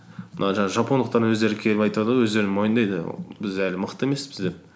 мына жаңағы жапондықтардың өздері келіп айтады ғой өздері мойындайды біз әлі мықты емеспіз деп